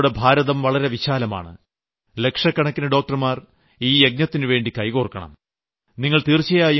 എന്നാൽ നമ്മുടെ ഭാരതം വളരെ വിശാലമാണ് ലക്ഷക്കണക്കിന് ഡോക്ടർമാർ ഈ യജ്ഞത്തിനുവേണ്ടി കൈകോർക്കണം